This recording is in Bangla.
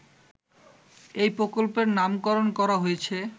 এই প্রকল্পের নামকরণ করা হয়েছে